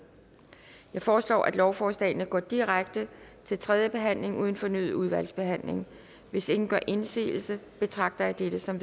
jeg foreslår at lovforslagene går direkte til tredje behandling uden fornyet udvalgsbehandling hvis ingen gør indsigelse betragter jeg dette som